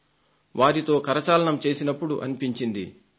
వారితో కరచాలనం చేసినప్పుడు అనిపించింది వాహ్